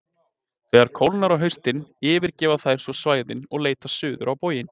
Þegar kólnar á haustin yfirgefa þær svo svæðin og leita suður á bóginn.